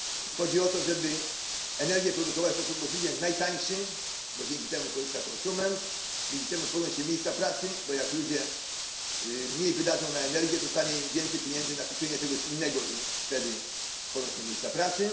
Chodzi o to, żeby energię produkować w sposób możliwie najtańszy, bo dzięki temu korzysta konsument, dzięki temu tworzą się miejsca pracy bo jak ludzie mniej wydadzą na energię, zostanie im więcej pieniędzy na kupienie czegoś innego i wtedy powstają miejsca pracy.